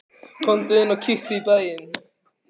Komdu inn og kíktu í bæinn!